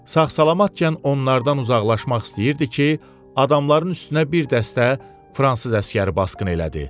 Sağ-salamatkən onlardan uzaqlaşmaq istəyirdi ki, adamların üstünə bir dəstə fransız əsgəri basqın elədi.